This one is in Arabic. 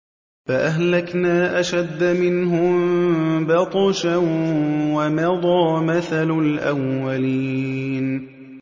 فَأَهْلَكْنَا أَشَدَّ مِنْهُم بَطْشًا وَمَضَىٰ مَثَلُ الْأَوَّلِينَ